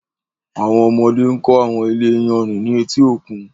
Àwọn ọmọdé ń kọ́ àwọn ilé iyanrìn ní etí òkun.